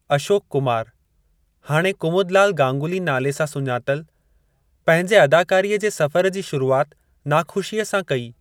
अशोक कुमार, हाणे कुमुदलाल गांगुली नाले सां सुञातलु, पंहिंजे अदाकारीअ जे सफ़र जी शुरूआत नाख़ुशीअ सां कई।